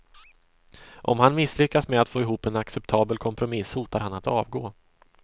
Om han misslyckas med att få ihop en acceptabel kompromiss hotar han att avgå.